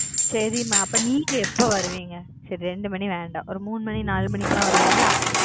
சரி மா அப்ப நீங்க எப்ப வருவீங்க சரி ரெண்டு மணி வேண்டா ஒரு மூணு மணி நாலு மணிக்கு லாம் வருவீங்க.